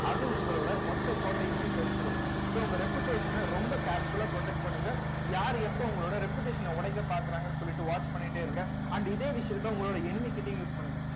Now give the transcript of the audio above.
அது உங்கலொட மொத்த கோட்டையுமே சரிச்சிரும் so உங்க reputation அ ரொம்ப careful ஆ protect பண்ணுங்க யாரு எப்ப உங்களோட reputation அ உடைக்க பாக்குறாங்கன்னு சொல்லிட்டு watch பண்ணிட்டே இருங்க and இதே விஷயத்தை உங்களோட enemy கிட்டயும் use பண்ணுங்க